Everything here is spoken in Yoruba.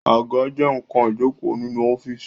Àga jẹ nkan ìjókòó nínú ọ́fíìsì